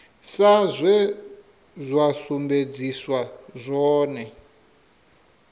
sa zwe zwa sumbedziswa zwone